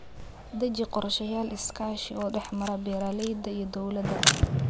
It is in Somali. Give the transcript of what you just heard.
Deji qorshayaal iskaashi oo dhexmara beeralayda iyo dawladda.